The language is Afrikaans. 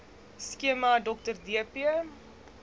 skema dr dp